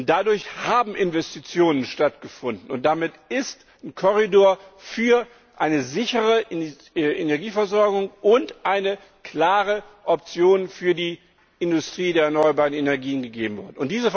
Dadurch haben Investitionen stattgefunden, und damit ist ein Korridor für eine sichere Energieversorgung und eine klare Option für die Industrie der erneuerbaren Energien gegeben worden.